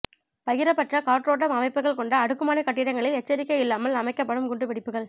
பகிரப்பட்ட காற்றோட்டம் அமைப்புகள் கொண்ட அடுக்குமாடி கட்டிடங்களில் எச்சரிக்கை இல்லாமல் அமைக்கப்படும் குண்டு வெடிப்புகள்